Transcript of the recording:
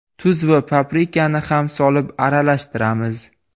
Tuz va paprikani ham solib aralashtiramiz.